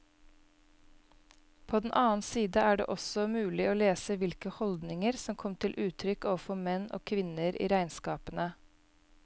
På den annen side er det også mulig å lese hvilke holdninger som kom til uttrykk overfor menn og kvinner i regnskapene.